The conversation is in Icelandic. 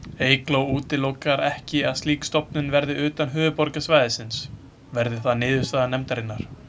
Eygló útilokar ekki að slík stofnun verði utan höfuðborgarsvæðisins, verði það niðurstaða nefndarinnar.